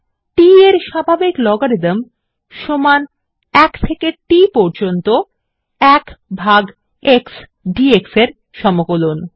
t এর স্বাভাবিক logarithm সমান ১ থেকে t পর্যম্ত ১ ভাগ x ডিএক্স এর সমকলন